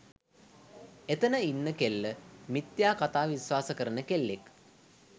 එතන ඉන්න කෙල්ල මිථ්‍යා කථා විශ්වාස කරන කෙල්ලෙක්